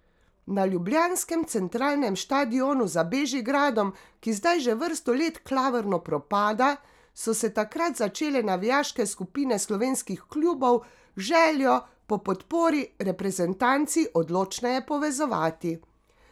Na ljubljanskem Centralnem štadionu za Bežigradom, ki zdaj že vrsto let klavrno propada, so se takrat začele navijaške skupine slovenskih klubov z željo po podpori reprezentanci odločneje povezovati.